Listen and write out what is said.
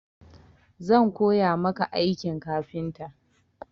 Zan koya maka aikin kafinta.